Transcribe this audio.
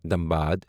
Dhanbad